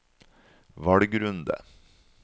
valgrunde